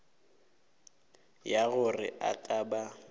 ya gore a ka ba